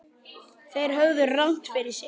Þeir höfðu rangt fyrir sér.